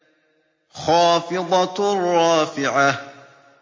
خَافِضَةٌ رَّافِعَةٌ